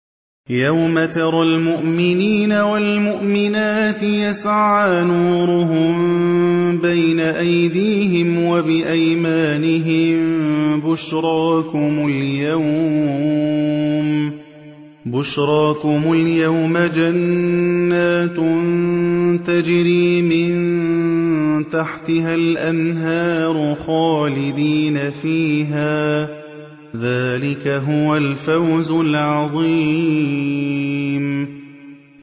يَوْمَ تَرَى الْمُؤْمِنِينَ وَالْمُؤْمِنَاتِ يَسْعَىٰ نُورُهُم بَيْنَ أَيْدِيهِمْ وَبِأَيْمَانِهِم بُشْرَاكُمُ الْيَوْمَ جَنَّاتٌ تَجْرِي مِن تَحْتِهَا الْأَنْهَارُ خَالِدِينَ فِيهَا ۚ ذَٰلِكَ هُوَ الْفَوْزُ الْعَظِيمُ